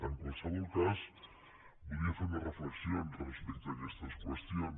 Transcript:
en qualsevol cas voldria fer unes reflexions respecte a aquestes qüestions